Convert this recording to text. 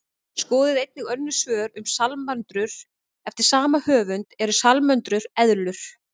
Skoðið einnig önnur svör um salamöndrur eftir sama höfund: Eru salamöndrur eðlur?